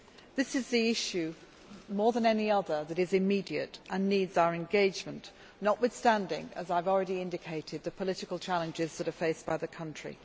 This is the issue, more than any other, that is immediate and needs our engagement, notwithstanding as I have already indicated the political challenges that are faced by the country.